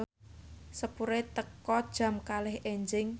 sepure teka jam kalih enjing